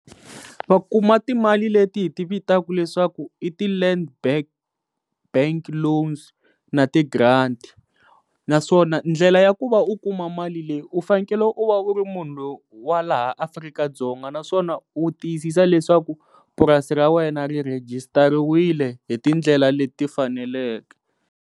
Va kuma timali leti hi ti vitaku leswaku i ti land back, bank loans na ti grant naswona ndlela ya ku va u kuma mali leyi u fanekele u va u ri munhu loyi wa laha Afrika-Dzonga naswona u tiyisisa leswaku purasi ra wena ri rhejisitariwile hi tindlela leti faneleke.